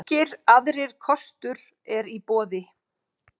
Engir aðrir kostur eru í boði.